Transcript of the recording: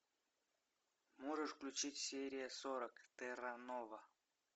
можешь включить серия сорок терра нова